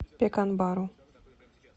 пеканбару